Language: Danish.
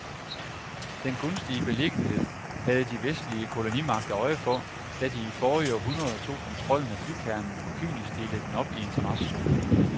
Den gunstige beliggenhed havde de vestlige kolonimagter øje for, da de i forrige århundrede tog kontrollen med bykernen og kynisk delte den op i interessezoner.